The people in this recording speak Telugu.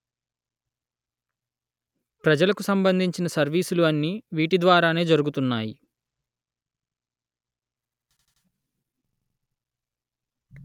ప్రజలకు సంబంధించిన సర్వీసులు అన్నీ వీటి ద్వారానే జరుగుతున్నాయి